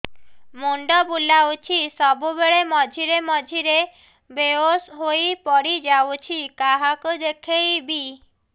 ମୁଣ୍ଡ ବୁଲାଉଛି ସବୁବେଳେ ମଝିରେ ମଝିରେ ବେହୋସ ହେଇ ପଡିଯାଉଛି କାହାକୁ ଦେଖେଇବି